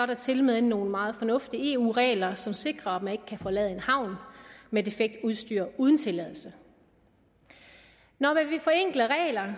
der tilmed nogle meget fornuftige eu regler som sikrer at man ikke kan forlade en havn med defekt udstyr uden tilladelse når man vil forenkle regler